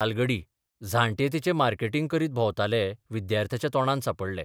तालगडी झांट्ये तिचें मार्केटिंग करीत भोंवताले विद्यार्थ्याच्या तोंडात सांपडले.